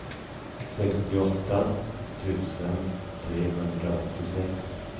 sextioåtta tusen trehundraåttiosex